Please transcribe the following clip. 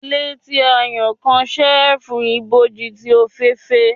Ile ti a ya kan cheerful iboji ti ofeefee.